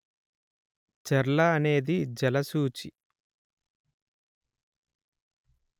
చెర్ల అనేది జలసూచి